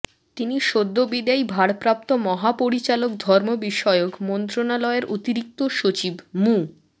তিনি সদ্যবিদায়ী ভারপ্রাপ্ত মহাপরিচালক ধর্ম বিষয়ক মন্ত্রণালয়ের অতিরিক্ত সচিব মু